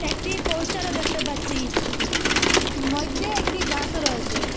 একটি পোস্টারও দেখতে পাচ্চি মইদ্যে একটি গাসও রয়েসে ।